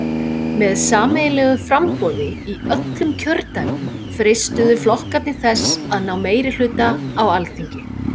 Með sameiginlegu framboði í öllum kjördæmum freistuðu flokkarnir þess að ná meirihluta á Alþingi.